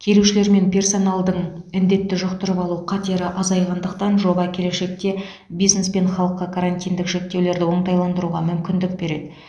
келушілер мен персоналдың індетті жұқтырып алу қатері азайғандықтан жоба келешекте бизнес пен халыққа карантиндік шектеулерді оңтайландыруға мүмкіндік береді